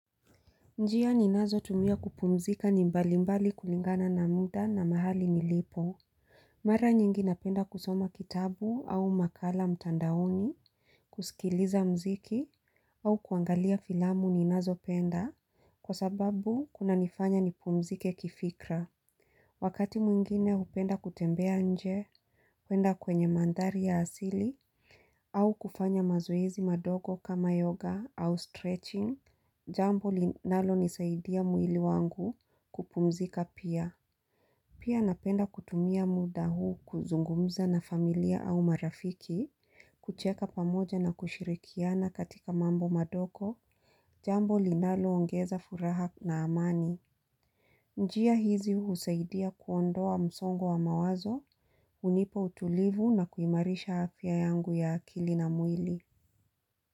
Njia ninazotumia kupumzika ni mbali mbali kulingana na muda na mahali nilipo Mara nyingi napenda kusoma kitabu au makala mtandaoni kusikiliza muziki au kuangalia filamu ninazopenda Kwa sababu kunanifanya nipumzike kifikra Wakati mwingine hupenda kutembea nje kuenda kwenye mandhari ya asili au kufanya mazoezi madogo kama yoga au stretching Jambo linalonisaidia mwili wangu kupumzika pia Pia napenda kutumia muda huu kuzungumza na familia au marafiki kucheka pamoja na kushirikiana katika mambo madogo Jambo linalo ongeza furaha na amani njia hizi husaidia kuondoa msongo wa mawazo hunipa utulivu na kuimarisha afya yangu ya akili na mwili.